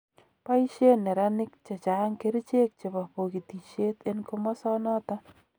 Boisien neraniik chechang kerichek chebo bogitisiet en komosonoton.